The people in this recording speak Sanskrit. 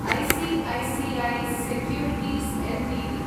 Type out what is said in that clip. I C I C I securities Ltd